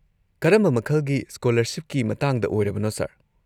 ꯀꯔꯝꯕ ꯃꯈꯜꯒꯤ ꯁ꯭ꯀꯣꯂꯔꯁꯤꯞꯀꯤ ꯃꯇꯥꯡꯗ ꯑꯣꯢꯔꯕꯅꯣ, ꯁꯔ?